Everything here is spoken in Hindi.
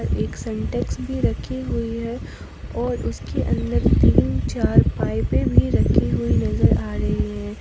एक सिंटेक्स भी रखी हुई है और इसके अंदर तीन चार पाइपें भी रखी हुई नजर आ रही हैं।